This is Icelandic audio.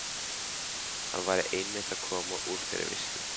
Hann væri einmitt að koma úr þeirri veislu.